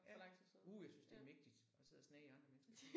Ja uh jeg synes det mægtigt at sidde og snage i andre mennesker